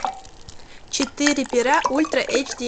четыре пера ультра эйч ди